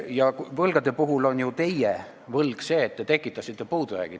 Ja mis puutub võlgadesse, siis teie võlg on see, et te tekitasite puudujäägi.